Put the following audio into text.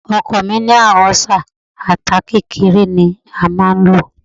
Ọkọ̀ mi ní àrùn ọ́sà, ata kékeré ni a máa ń lò.